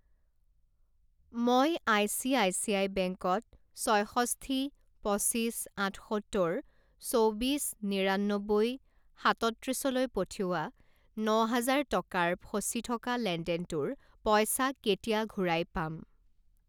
মই আইচিআইচিআই বেংকত ছয়ষষ্ঠি পঁচিছ আঠসত্তৰ চৌবিছ নিৰান্নব্বৈ সাতত্ৰিছ লৈ পঠিওৱা ন হাজাৰ টকাৰ ফচি থকা লেনদেনটোৰ পইচা কেতিয়া ঘূৰাই পাম?